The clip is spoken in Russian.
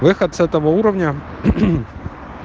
выход с этого уровня